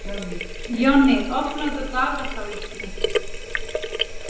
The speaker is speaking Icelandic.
Jonni, opnaðu dagatalið mitt.